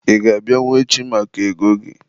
Ị ga-abịanwu echi maka ego gị?